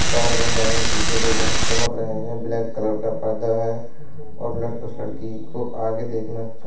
स्टार बन रहे हैं पीछे को बहोत चमक रहे हैं। ब्लैक कलर का परदा है और लड़ उस लङकी को आगे देखना चाह --